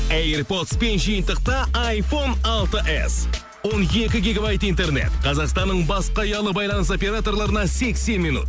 эйр подспен жиынтықта айфон алты эс он екі гигабайт интернет қазақстанның басқа ұялы байланыс операторларына сексен минут